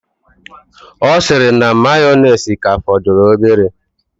Ọ sịrị na mayoneesi ka fọdụrụ obere.